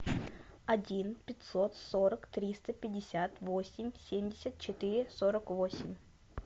один пятьсот сорок триста пятьдесят восемь семьдесят четыре сорок восемь